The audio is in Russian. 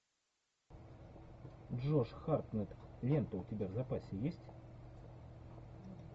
джош хартнетт лента у тебя в запасе есть